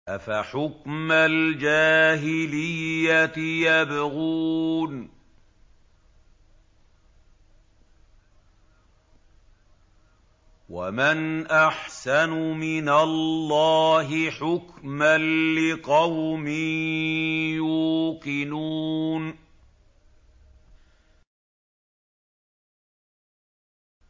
أَفَحُكْمَ الْجَاهِلِيَّةِ يَبْغُونَ ۚ وَمَنْ أَحْسَنُ مِنَ اللَّهِ حُكْمًا لِّقَوْمٍ يُوقِنُونَ